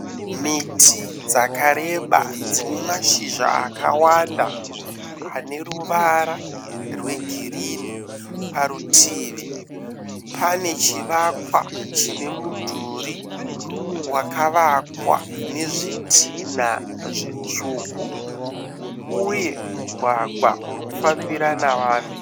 Miti dzakareba dzine mashizha akawanda aneruva rwegirini. Parutivi panechivakwa chinemudhuri wakawakwa nezvitina zvitsvuku uye mugwagwa unofambira navanhu.